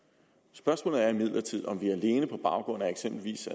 spørgsmålet er imidlertid om vi alene på baggrund af eksempelvis